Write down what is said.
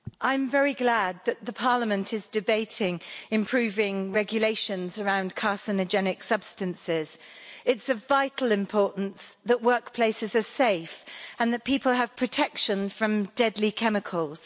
Madam President, I'm very glad that Parliament is debating improving regulations around carcinogenic substances. It's of vital importance that workplaces are safe and that people have protection from deadly chemicals.